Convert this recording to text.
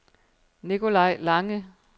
Nikolaj Lange